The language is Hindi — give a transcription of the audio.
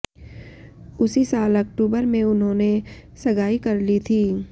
उसी साल अक्टूबर में उन्होंने सगाई कर ली थी